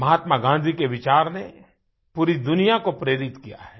महात्मा गाँधी के विचार ने पूरी दुनिया को प्रेरित किया है